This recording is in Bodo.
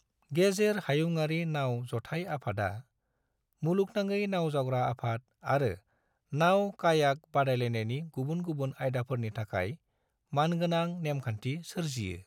गेजेर हायुंआरि नाव जथाय आफादा मुलुगनाङै नाव जावग्रा आफाद आरो नाव-कायाक बादायलायनायनि गुबुन गुबुन आयदाफोरनि थाखाय मानगोनां नेमखान्थि सोरजियो।